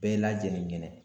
Bɛɛ lajɛlen ɲɛnɛ.